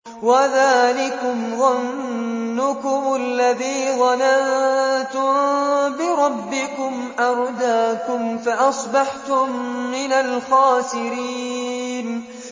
وَذَٰلِكُمْ ظَنُّكُمُ الَّذِي ظَنَنتُم بِرَبِّكُمْ أَرْدَاكُمْ فَأَصْبَحْتُم مِّنَ الْخَاسِرِينَ